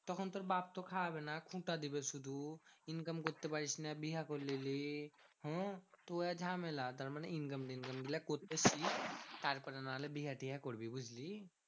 তখন তোর বাপ্ তো খাওয়াবে না খুটা দেবে শুধু। income করতে পারিস না বিহা করে নিলি। হ্যাঁ তুএ ঝামেলা তারমানে income ফিনকাম গুলো করতে শিখ। তারপরে নাহলে বিয়ে টিয়ে করবি, বুঝলি?